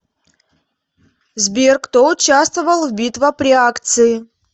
сбер кто участвовал в битва при акции